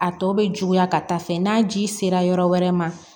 A tɔ bɛ juguya ka taa fɛ n'a ji sera yɔrɔ wɛrɛ ma